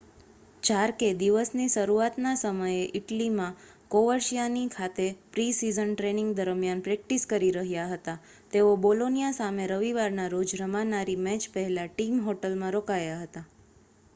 જાર્કે દિવસની શરૂઆતના સમયે ઇટલીમાં કોવર્સિઆનો ખાતે પ્રિ-સિઝન ટ્રેનિંગ દરમિયાન પ્રૅક્ટિસ કરી રહ્યા હતા તેઓ બોલોનિયા સામે રવિવારના રોજ રમાનારી મૅચ પહેલાં ટીમ હોટલમાં રોકાયા હતા